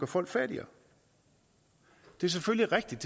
folk fattigere det er selvfølgelig rigtigt